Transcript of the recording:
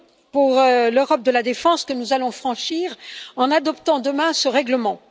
pour l'Europe de la défense que nous allons franchir en adoptant demain ce règlement.